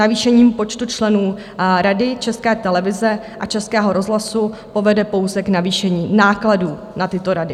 Navýšení počtu členů Rady České televize a Českého rozhlasu povede pouze k navýšení nákladů na tyto rady.